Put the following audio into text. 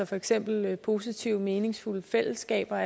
for eksempel er det positive meningsfulde fællesskaber